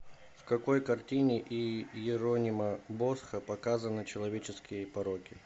в какой картине иеронима босха показаны человеческие пороки